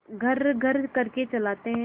घर्रघर्र करके चलाते हैं